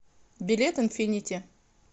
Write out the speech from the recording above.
билет инфинити